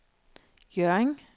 Hjørring